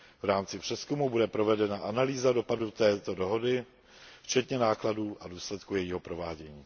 V rámci přezkumu bude provedena analýza dopadu této dohody, včetně nákladů a důsledků jejího provádění.